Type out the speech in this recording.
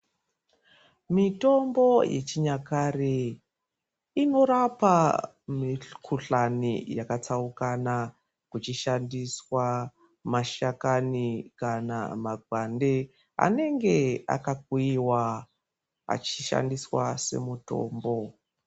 Mitombo yechinyakare inorapa mikhuhlani yakatsaukana kuchishandiswa mashakani kana makwande anenge akakuyiwa achishandiswa semutombo.